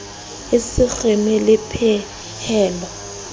e se kgeme le pehelo